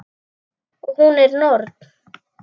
Og hún er norn.